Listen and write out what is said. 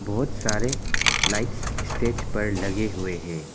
बहुत सारे lights stage पर लगे हुए है।